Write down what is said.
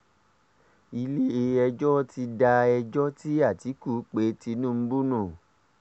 ilé-ẹjọ́ ti da ẹjọ́ tí àtìkú pe tinubu nù